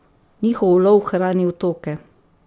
Njihov ulov hrani otoke.